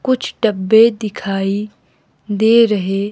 कुछ डब्बे दिखाई दे रहे--